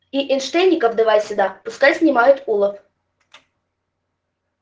и энштэйников давай сюда пускай снимают улов